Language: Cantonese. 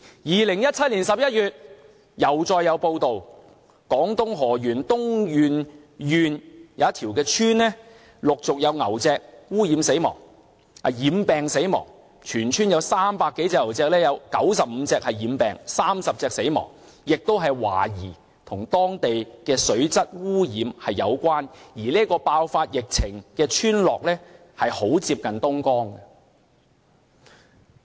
2017年11月，又再有報道，廣東河源東源縣一條村落陸續有牛隻染病死亡，全村300多隻牛中有95隻染病 ，30 隻死亡，亦是懷疑與當地水質被污染有關，而這個爆發疫情的村落很接近東江。